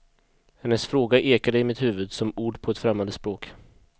Hennes fråga ekade i mitt huvud, som ord på ett främmande språk.